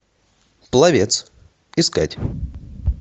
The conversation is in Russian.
пловец искать